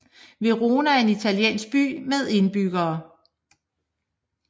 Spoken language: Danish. Verona er en italiensk by med indbyggere